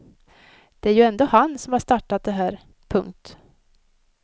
Det är ju ändå han som har startat det här. punkt